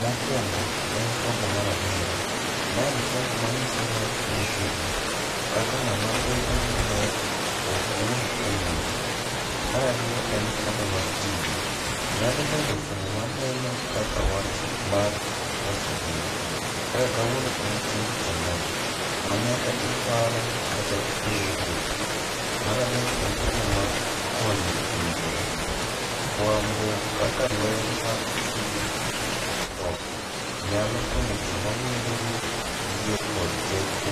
Mokwongo, en fuambo mar adiera. Ma en fuambo manyiso wach motegno, kaka ng'ama bedo gi ler ok wuoth e mudho. Marariyo en fuambo mar tije, nyalobedo fuambo maneno kaka wach mar loso ngima. Kaka kawuono en chieng' tich ang'wen, ma nyaka iparo kaka ibiro wuotho. Maradek en fuambo mar konyo winjore, fuambo kaka ler mar chuny ok tho. Nyalo konyo joma winjo ni yie kod teko